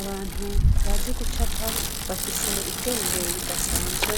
Abantu bazi gucapa bafise ubwenge budasanzwe.